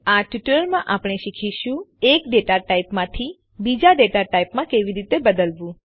આ ટ્યુટોરીયલમાં આપણે શીખીશું એક ડેટા ટાઇપમાંથી બીજા ડેટા ટાઇપમાં કેવી રીતે બદલવું